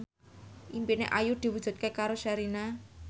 impine Ayu diwujudke karo Sherina